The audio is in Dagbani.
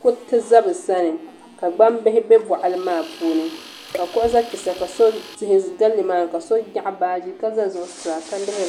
kuriti ʒɛ bi sani ka gbambihi bɛ boɣali maa puuni ka kuɣu ʒɛ kpɛ sa ka tihi ʒɛ nimaani ka so nyaɣa baaji ka ʒɛ zuɣusaa ka lihiri